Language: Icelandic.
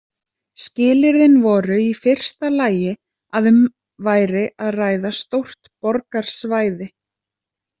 Skilyrðin voru í fyrsta lagi að um væri að ræða stórt borgarsvæði.